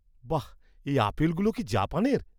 বাহ! এই আপেলগুলো কি জাপানের?